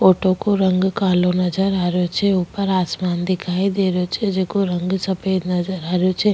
Ought को रंग कालो नजर आ रयो छे ऊपर आसमान दिखाई दे रयो छे जको रंग सफ़ेद नजर आ रयो छे।